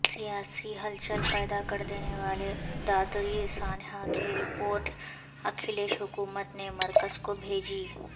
سیاسی ہلچل پیدا کردینے والے دادری سانحہ کی رپورٹ اکھلیش حکومت نے مرکز کو بھیجی